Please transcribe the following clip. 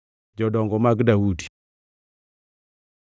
Daudi nobedo ruodh jo-Israel duto kotimo maber kendo makare ni joge duto.